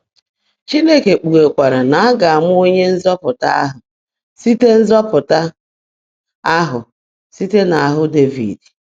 Chineke kpughekwara na a ga-amụ Onye Nzọpụta ahụ site Nzọpụta ahụ site n'ahụ Devid.